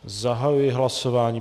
Zahajuji hlasování.